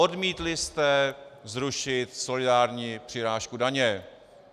Odmítli jste zrušit solidární přirážku daně.